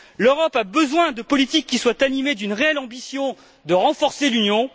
L'Europe a besoin de politiques qui soient animées d'une réelle ambition de renforcer l'Union.